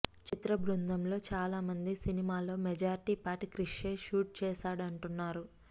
చిత్ర బృందంలో చాలామంది సినిమాలో మెజారిటీ పార్ట్ క్రిష్యే షూట్ చేశాడంటున్నారు